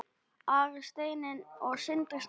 Ari Steinn og Sindri Snær.